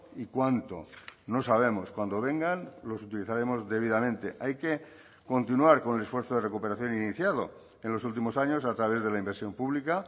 y cuánto no sabemos cuando vengan los utilizaremos debidamente hay que continuar con el esfuerzo de recuperación iniciado en los últimos años a través de la inversión pública